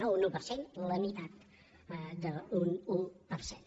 no un un per cent la meitat d’un un per cent